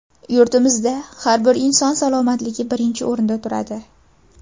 Yurtimizda har bir inson salomatligi birinchi o‘rinda turadi.